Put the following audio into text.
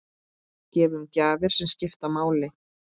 Gefum gjafir sem skipta máli.